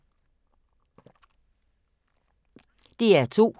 DR2